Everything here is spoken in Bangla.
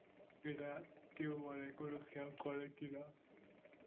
এটা কেউ মানে কোন scam করে কিনা